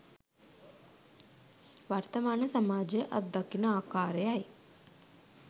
වර්තමාන සමාජය අත්දකින ආකාරයයි